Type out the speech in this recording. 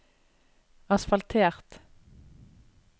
asfaltert